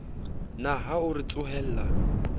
na ha o re tsohella